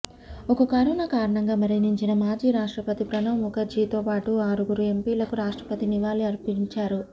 ఇక కరోనా కారణంగా మరణించిన మాజీ రాష్ట్రపతి ప్రణబ్ ముఖర్జీతో పాటు ఆరుగురు ఎంపీలకు రాష్ట్రపతి నివాళి అర్పించారు